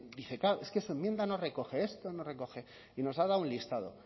dice claro es que su enmienda no recoge esto no recoge y nos ha dado un listado